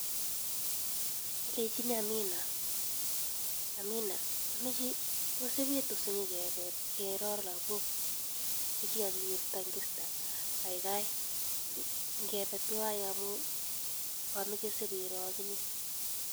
Alechinii Amina tos ipitu sinyokebe ibkeroo lagok chekikakiwirta ing eastern kaikai ngepe tuwaii amuu kameche sibiroo akinyee